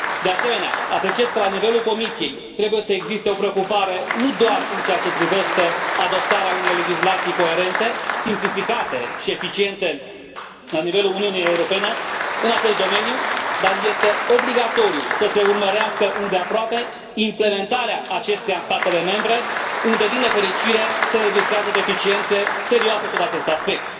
De asemenea, apreciez că la nivelul Comisiei trebuie să existe o preocupare nu doar în ceea ce privește adoptarea unei legislații coerente, simplificate și eficiente la nivelul Uniunii Europene în acest domeniu, dar este obligatoriu să se urmărească îndeaproape implementarea acesteia în statele membre unde, din nefericire, se înregistrează deficiențe serioase sub acest aspect.